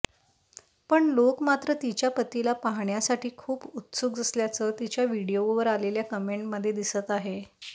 पण लोक मात्र तिच्या पतीला पाहण्यासाठी खूप उत्सुक असल्याचं तिच्या व्हिडीओवर आलेल्या कमेंटमध्ये दिसत आहे